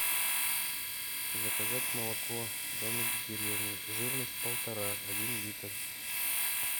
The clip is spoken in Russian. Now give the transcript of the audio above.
заказать молоко домик в деревне жирность полтора один литр